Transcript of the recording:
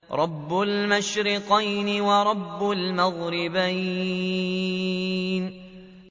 رَبُّ الْمَشْرِقَيْنِ وَرَبُّ الْمَغْرِبَيْنِ